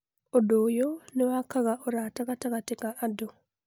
Ũndũ ũyũ nĩ wakaga ũrata gatagatĩ ka andũ.